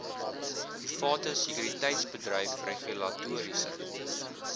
private sekuriteitsbedryf regulatoriese